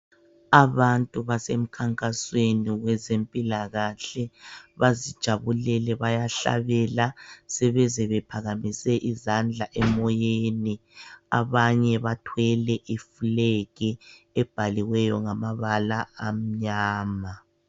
Abantu basemkhankasweni wezempilakahle. Bazijabulele. Bayahlabela. Sebeze bephakamisele izandla emoyeni. Abanye bathwele iflag ebhaliweyo, ngamabala amnyama.